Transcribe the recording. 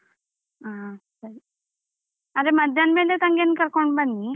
ಹಾ ಸರಿ. ಆದ್ರೆ ಮಧ್ಯಾಹ್ನ ಮೇಲೆ ತಂಗಿಯನ್ನು ಕರ್ಕೊಂಡು ಬನ್ನಿ.